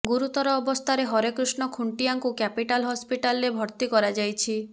ଗୁରୁତର ଅବସ୍ଥାରେ ହରେକୃଷ୍ଣ ଖୁଣ୍ଟିଆଙ୍କୁ କ୍ୟାପିଟାଲ ହସ୍ପିଟାଲରେ ଭର୍ତ୍ତି କରାଯାଇଛି